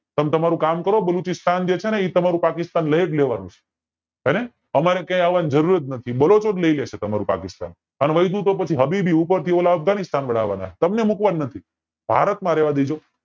તમ તમારું કામ કરો બાલુચીસ્તાન જે છે ને એ તમારું પાકિસ્તાન લયજ લેવાંનું છે હેને અમારે કાય અવની જરૂર જ નથી બાલુચી જ લય લેશે તમારું પાકિસ્તાન અને વધ્યું તો પછી હબીબી ઉપર થી ઓલ અફઘાનિસ્તાન વાળા આવા ના છે તમને મુકવાના નથી ભારત માં રેવા દેજો